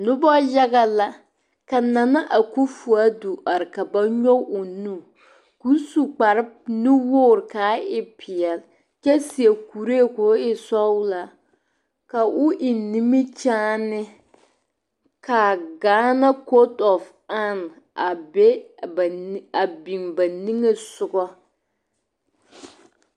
Noba yaga la ka Nana Akofo Addo are ka ba nyɔge o nu ka o su kpare nuwogri ka a e peɛle kyɛ seɛ kuree k'o e sɔglaa ka o eŋ nimikyaani ka a Gaana kotɔam a be a nige a biŋ ba nige sɔga.